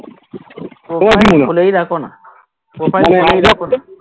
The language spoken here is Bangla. খুলেই রাখো না profile